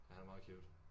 Ja han er meget cute